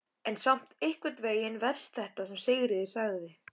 En samt einhvern veginn verst þetta sem Sigríður sagði.